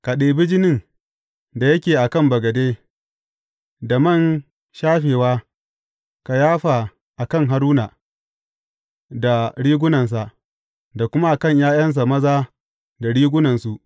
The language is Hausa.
Ka ɗibi jinin da yake a kan bagade, da man shafewa, ka yafa a kan Haruna da rigunansa, da kuma a kan ’ya’yansa maza da rigunansu.